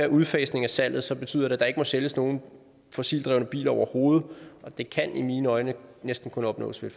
udfasning af salget så betyder det at der ikke må sælges nogen fossildrevne biler overhovedet og det kan i mine øjne næsten kun opnås ved